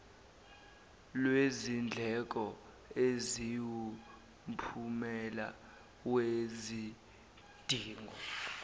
lwezindleko eziwumphumela wezidingo